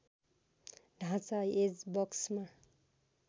ढाँचा एज बक्समा